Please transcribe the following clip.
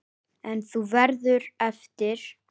En þú verður eftir.